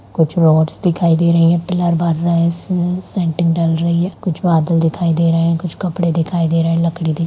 कुछ रोड्स दिखाई दे रही है पिलर बाँध रहे इसमें सेंट्रिंग डल रही है कुछ बादल दिखाई दे रहे है कुछ कपड़े दिखाई दे रहे है लकड़ी --